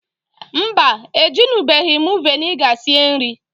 Mbaǃ E junubeghi m viniga sie nri.